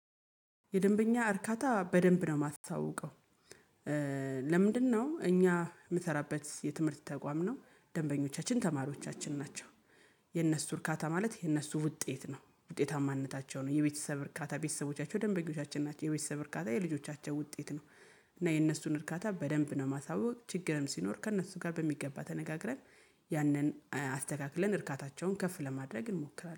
የደንበኛ እርካታ በደንብ ነው የማስታውቀው። ለምንድነው እኛ የምንሰራበት የትምህርት ተቋም ነው ደንበኞቻችን ተማሪዎቻችን ናቸው። የእነርሱ እርካታ ማለት የነሱ ውጤት ነው ውጤታማነታቸው ነው የቤተሰብ እርካታ ቤተሰቦቻቸው ደንበኞቻችን ናቸው የቤተሰብ እርካታ የልጆቻቸው ውጤት ነው። እና የእነሱን እርካታ በደንብ ነው የማሳውቅ ችግርም ሲኖር ከእነሱ ጋር በሚገባ ተነጋግረን። ያንን አስተካክለን እርካታቸውን ከፍ ለማድረግ እንሞክራለን